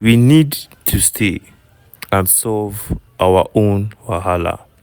we need to stay and solve our own wahala.